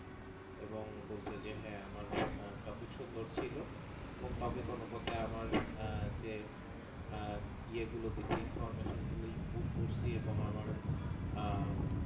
আহ এবং বলছে যে হ্যাঁ আমার topic সুন্দর ছিল এবং topic অনুপাতে আহ আমার যে ইয়ে গুলো দিছি information গুলো input করেছি এবং আমার